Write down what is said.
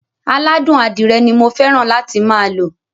Aládùn adírẹ ni mo fẹ́ràn láti máa lo.